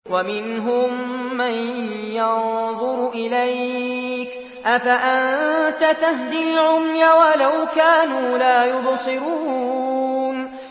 وَمِنْهُم مَّن يَنظُرُ إِلَيْكَ ۚ أَفَأَنتَ تَهْدِي الْعُمْيَ وَلَوْ كَانُوا لَا يُبْصِرُونَ